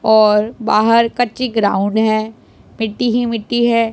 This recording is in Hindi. और बाहर कच्ची ग्राउंड है मिट्टी ही मिट्टी है।